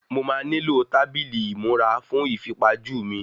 Mo má nílò tábìlì ìmúra fún ìfipajú mi